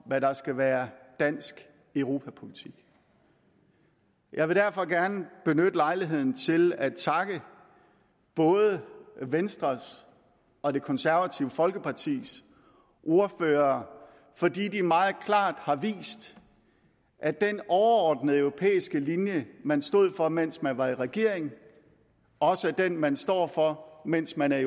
hvad der skal være dansk europapolitik jeg vil derfor gerne benytte lejligheden til at takke både venstres og det konservative folkepartis ordførere fordi de meget klart har vist at den overordnede europæiske linje man stod for mens man var i regering også er den man står for mens man er